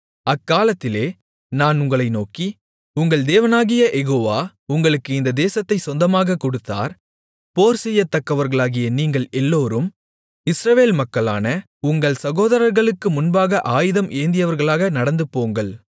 அக்காலத்திலே நான் உங்களை நோக்கி உங்கள் தேவனாகிய யெகோவா உங்களுக்கு இந்த தேசத்தைச் சொந்தமாகக் கொடுத்தார் போர்செய்யத்தக்கவர்களாகிய நீங்கள் எல்லோரும் இஸ்ரவேல் மக்களான உங்கள் சகோதரர்களுக்கு முன்பாக ஆயுதம் ஏந்தியவர்களாக நடந்துபோங்கள்